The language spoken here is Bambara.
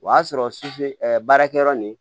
O y'a sɔrɔ baarakɛyɔrɔ nin